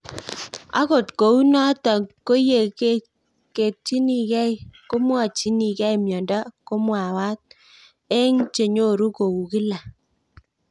Akot kou notok ko ye ketchinikei kowechinigei miondo ko mamwaat eng' che nyoru kou kila